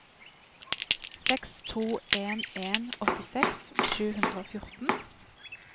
seks to en en åttiseks sju hundre og fjorten